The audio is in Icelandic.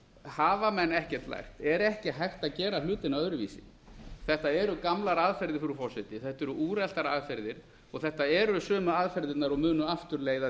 hafa menn ekkert lært er ekki hægt að gera hlutina öðruvísi þetta eru gamlar aðferðir frú forseti þetta eru úreltar aðferðir og þetta eru sömu aðferðirnar og munu aftur leiða